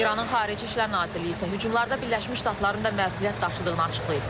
İranın Xarici İşlər Nazirliyi isə hücumlarda Birləşmiş Ştatların da məsuliyyət daşıdığını açıqlayıb.